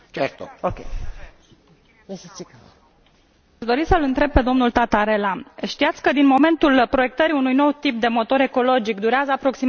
Doresc să îl întreb pe domnul Tatarella știați că, din momentul proiectării unui nou tip de motor ecologic, durează aproximativ șapte ani până la introducerea acestuia pe piață?